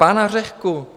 Pana Řehku.